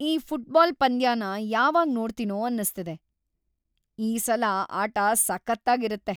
ಈ ಫುಟ್ಬಾಲ್ ಪಂದ್ಯನ ಯಾವಾಗ್‌ ನೋಡ್ತೀನೋ ಅನ್ಸ್ತಿದೆ! ಈ ಸಲ ಆಟ ಸಖತ್ತಾಗಿರತ್ತೆ!